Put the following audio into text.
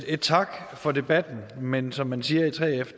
et tak for debatten men som man siger i 3f